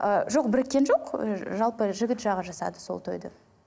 ы жоқ біріккен жоқ жалпы жігіт жағы жасады сол тойды